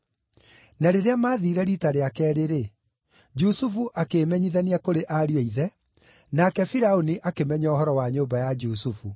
Na rĩrĩa maathiire riita rĩa keerĩ-rĩ, Jusufu akĩĩmenyithania kũrĩ ariũ a ithe, nake Firaũni akĩmenya ũhoro wa nyũmba ya Jusufu.